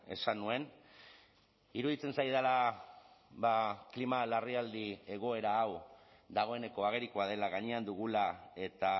esan nuen iruditzen zaidala klima larrialdi egoera hau dagoeneko agerikoa dela gainean dugula eta